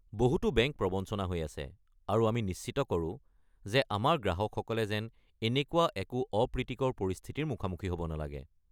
বহুতো বেংক প্ৰৱঞ্চনা হৈ আছে, আৰু আমি নিশ্চিত কৰোঁ যে আমাৰ গ্ৰাহকসকলে যেন এনেকুৱা একো অপ্ৰীতিকৰ পৰিস্থিতিৰ মুখামুখি হ'ব নালাগে।